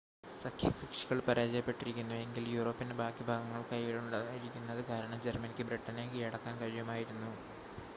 സഖ്യകക്ഷികൾ പരാജയപ്പെട്ടിരുന്നു എങ്കിൽ യൂറോപ്പിൻ്റെ ബാക്കി ഭാഗങ്ങൾ കയ്യിലുണ്ടായിരുന്നത് കാരണം ജർമ്മനിക്ക് ബ്രിട്ടനെയും കീഴടക്കാൻ കഴിയുമായിരുന്നു